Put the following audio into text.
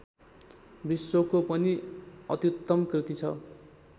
विश्वको पनि अत्युत्तम कृति छ